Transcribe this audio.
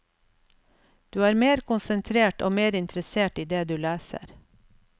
Du er mer konsentrert og mer interessert i det du leser.